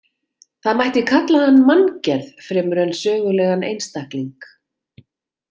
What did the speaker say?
Það mætti kalla hann manngerð fremur en sögulegan einstakling.